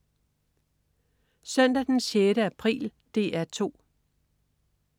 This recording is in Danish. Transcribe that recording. Søndag den 6. april - DR 2: